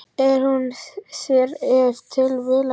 Er hún þér ef til vill ekki ljós?